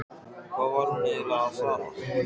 Hvað var hún eiginlega að fara?